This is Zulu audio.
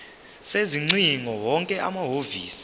sezingcingo wonke amahhovisi